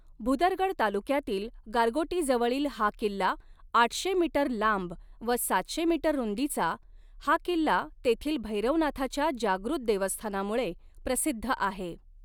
भुदरगड तालुक्यातील गारगोटी जवळील हा किल्ला आठशे मीटर लांब व सातशे मीटर रुंदी़चा हा किल्ला तेथील भैरवनाथाच्या जागृत देवस्थानामुळे प्रसिद्ध आहे.